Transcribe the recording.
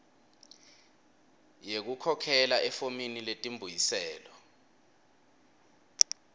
yekukhokhela efomini letimbuyiselo